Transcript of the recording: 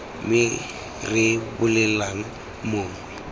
me re re bolelelang mongwe